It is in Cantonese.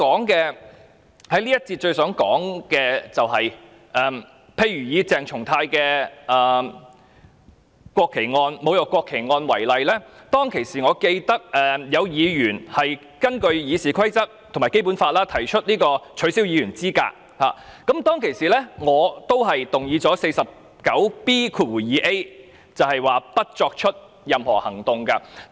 這一節我最想說的是，以鄭松泰議員侮辱國旗案為例，我記得當時有議員曾根據《議事規則》及《基本法》提出取消議員資格的議案，而我當時則根據第 49B 條，動議不得再採取任何行動的議案。